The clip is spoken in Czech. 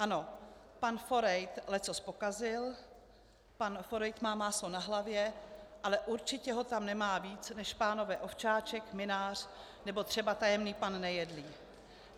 Ano, pan Forejt leccos pokazil, pan Forejt má máslo na hlavě, ale určitě ho tam nemá víc než pánové Ovčáček, Mynář nebo třeba tajemník pan Nejedlý.